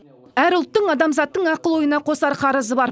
әр ұлттың адамзаттың ақыл ойына қосар қарызы бар